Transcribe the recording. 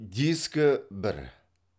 дискі бір